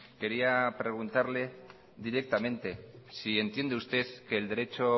quería preguntarle directamente si entiende usted que el derecho